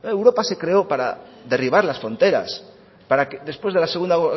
europa se creó para derribar las fronteras para que después de la segundo